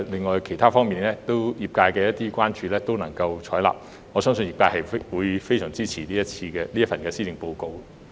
在其他方面，特首亦採納了業界的建議，我相信業界會非常支持這份施政報告。